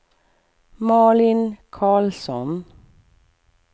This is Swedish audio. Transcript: Malin Carlsson